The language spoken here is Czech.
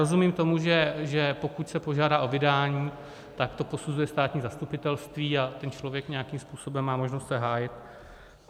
Rozumím tomu, že pokud se požádá o vydání, tak to posuzuje státní zastupitelství a ten člověk nějakým způsobem má možnost se hájit.